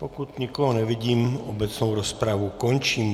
Pokud nikoho nevidím, obecnou rozpravu končím.